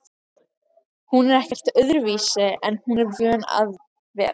Hún er ekkert öðruvísi en hún er vön að vera